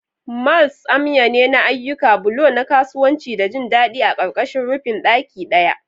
Malls amya ne na ayyuka, bulo na kasuwanci da jin daɗi a ƙarƙashin rufin ɗaki ɗaya.